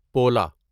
پولا